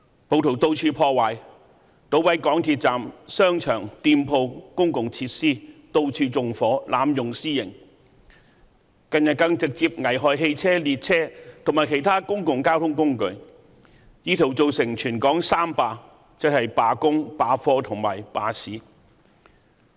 暴徒到處破壞，搗毀港鐵站、商場、店鋪、公共設施，到處縱火，濫用私刑，近日更直接危害汽車、列車和其他公共交通工具，意圖造成全港"三罷"，即罷工、罷課和罷市。